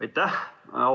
Aitäh!